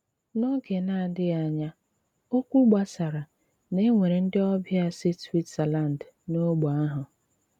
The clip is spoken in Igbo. N’óge ná-àdị́ghị ányá, ókwú gbásárá ná é nwéré ndị ọbịa sí Swítzerlánd n’ógbè ahụ.